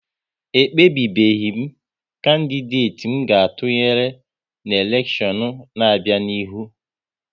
E kpebebeghi m kandideti m ga-atụnyere n'elekshion n'abia n'ihu